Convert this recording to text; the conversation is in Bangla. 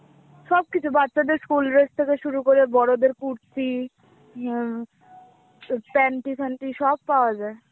সবকিছু, বাচ্চাদের school dress থেকে শুরু করে বড়দের কুর্তি, উম প্যান্টি ফ্যান্টি সব পাওয়া যায়.